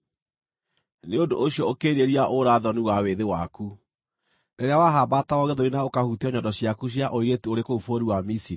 Nĩ ũndũ ũcio ũkĩĩrirĩria ũũra-thoni wa wĩthĩ waku, rĩrĩa wahambatagwo gĩthũri na ũkahutio nyondo ciaku cia ũirĩtu ũrĩ kũu bũrũri wa Misiri.